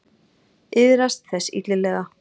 Iðrast þess illilega.